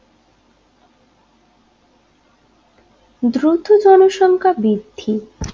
দ্রুত জনসংখ্যা বৃদ্ধি